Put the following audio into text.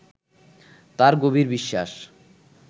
তাঁর গভীর বিশ্বাস